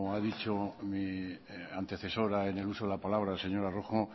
ha dicho mi antecesora en el uso de la palabra la señora rojo